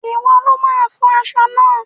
Ìwọ lo máa fọ aṣọ náà.!